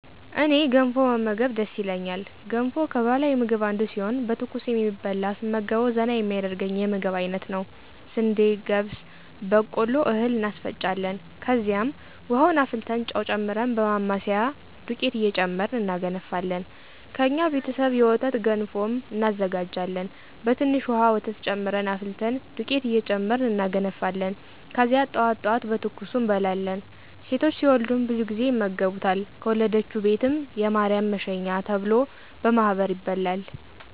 እኔ ገንፎ መመገብ ደስ ይለኛል ገንፎ ከባህላዊ ምግብ አንዱ ሲሆን በትኩሱ የሚበላ ስመገበዉ ዘና የሚያደርገኝ የምግብ አይነት ነዉ። ስንዴ፣ ገብስ፣ በቆሎ እህል እናስፈጫለን ከዚያም፦ ዉሀዉን አፍልተን ጨዉ ጨምረን በማማሰያ <ዱቄት እየጨመርን እናገነፋለን>ከእኛ ቤተሰብ የወተት ገንፎም እናዘጋጃሀን በትንሽ ዉሀ ወተት ጨምረን አፍልተን ዱቄት እየጨመርን እናገነፋለን ከዚያ ጠዋት ጠዋት በትኩሱ እንበላለን። ሴቶች ሲወልዱም ብዙ ጊዜ ይመገቡታል ከወለደችዉ ቤትም <የማርያም መሸኛ ተብሎ>በማህበር ይበላል።